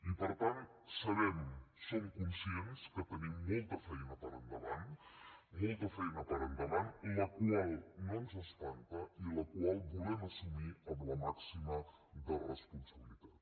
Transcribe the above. i per tant sabem som conscients que tenim molta feina per endavant molta feina per endavant la qual no ens espanta i la qual volem assumir amb la màxima de responsabilitat